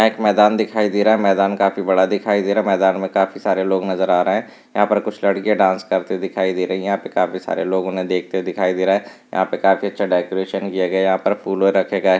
यहाँ एक मैदान दिखाई दे रहा है मैदान काफी बड़ा दिखाई दे रहा मैदान में काफी सारे लोग नजर आ रहे रहे हैयहाँ पे कुछ लडकिया डांस करती हुई दिखाई दे रही है यहाँ पे काफी सारे लोग उन्हें देखते हुए दिखाई दे रहे है यहाँ पे काफी अच्छा डेकोरेशन किया गया हैयहाँ पर फूलो रखे गये।